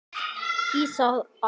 Það blæddi úr Heiðu.